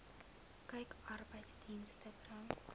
kyk arbeidsdienste bring